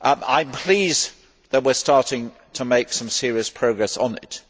I am pleased that we are starting to make some serious progress on it.